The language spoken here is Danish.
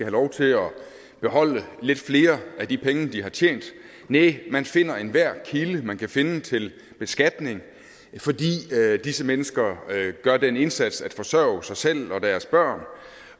lov til at beholde lidt flere af de penge de har tjent næh man finder enhver kilde man kan finde til beskatning fordi disse mennesker gør den indsats at forsørge sig selv og deres børn